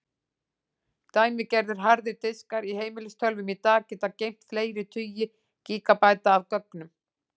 Dæmigerðir harðir diskar í heimilistölvum í dag geta geymt fleiri tugi gígabæta af gögnum.